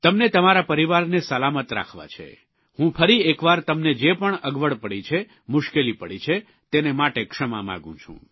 તમને તમારા પરિવારને સલામત રાખવા છે હું ફરીએકવાર તમને જે પણ અગવડ પડી છે મુશ્કેલી પડી છે તેને માટે ક્ષમા માગું છું